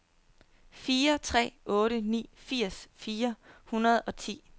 fire tre otte ni firs fire hundrede og ti